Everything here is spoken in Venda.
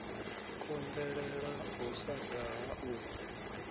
konḓelela u sa daha u